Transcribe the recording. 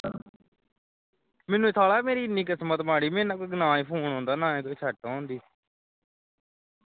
ਮੈਨੂੰ ਸਾਲਿਆ ਮੇਰੀ ਇੰਨੀ ਕਿਸਮਤ ਮਾੜੀ ਮੈਨੂੰ ਕੋਈ ਨਾਹੀਂ ਕੋਈ phone ਆਉਂਦਾ ਨਾਹੀਂ ਕੋਈ set ਹੋਣ ਡਈ